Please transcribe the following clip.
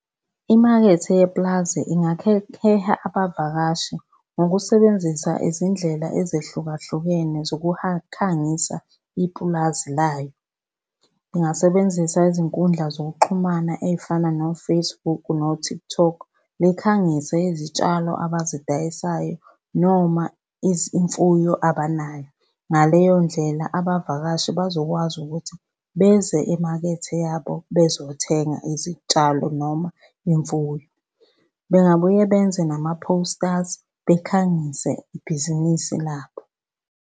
Imakethe yepulazi heha abavakashi ngokusebenzisa izindlela ezehlukahlukene khangisa ipulazi layo. Ingasebenzisa izinkundla zokuxhumana ey'fana no-Facebook no-TikTok, likhangise izitshalo abazidayisayo noma izimfuyo abanayo. Ngaleyo ndlela abavakashi bazokwazi ukuthi beze emakethe yabo bezothenga izitshalo noma imfuyo. Bengabuye benze nama-posters, bekhangise ibhizinisi labo.